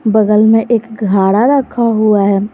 बगल में एक घड़ा रखा हुआ है।